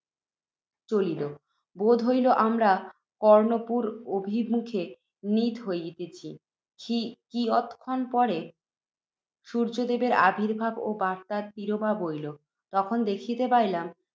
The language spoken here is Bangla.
চলিল। বোধ হইল, আমরা কর্ণপুর অভিমুখে নীত হইতেছি। কিয়ৎ ক্ষণ পরে, সূর্য্যদেবের আবির্ভাব ও বাত্যার তিরোভাব হইল। তখন দেখিতে পাইলাম,